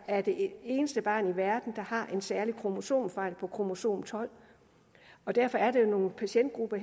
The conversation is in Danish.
er det eneste barn i verden der har en særlig kromosomfejl på kromosom tolvte derfor er det jo nogle patientgrupper